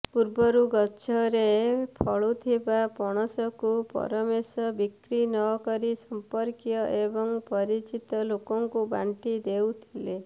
ପୂର୍ବରୁ ଗଛରେ ଫଳୁଥିବା ପଣସକୁ ପରମେଶ ବିକ୍ରି ନକରି ସଂପର୍କୀୟ ଏବଂ ପରିଚିତ ଲୋକଙ୍କୁ ବାଣ୍ଟି ଦେଉଥିଲେ